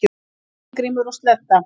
Steingrímur og Sledda,